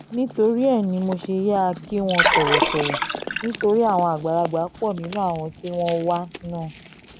nítorí ẹ ní mo ṣe yáa kí wọ́n tọ̀wọ̀tọ̀wọ̀ nítorí àwọn àgbàlagbà pọ̀ nínú àwọn tí wọ́n wà náà